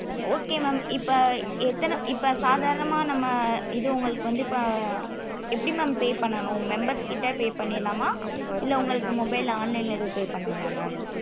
okay mam இப்போ ஆஹ் இப்ப எத்தன இப்ப சாதரணம நம்ம இது உங்களுக்கு வந்து ஆஹ் எப்டி mam pay பண்ணனும் members கிட்ட pay பண்ணிரலாம இல்ல உங்களுக்கு mobile ல online ல ஏதும் pay பண்ணனும mam